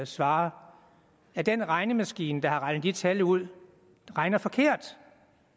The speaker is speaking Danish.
svare at den regnemaskine der har regnet de tal ud regner forkert